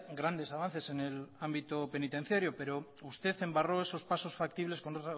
grandes avances en el ámbito penitenciario pero usted embarró esos pasos factibles con